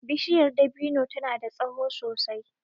Bishiyar dabino ta na da tsaho sosai